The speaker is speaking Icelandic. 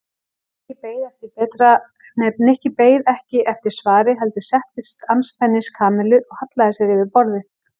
Nikki beið ekki eftir svari heldur settist andspænis Kamillu og hallaði sér yfir borðið.